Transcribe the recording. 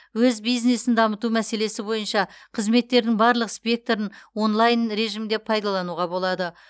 өз бизнесін дамыту мәселесі бойынша қызметтердің барлық спектрін онлайн режимде пайдалануға болады